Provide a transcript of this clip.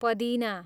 पदिना